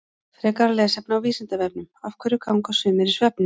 Frekara lesefni á Vísindavefnum Af hverju ganga sumir í svefni?